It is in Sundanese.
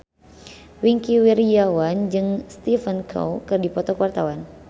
Wingky Wiryawan jeung Stephen Chow keur dipoto ku wartawan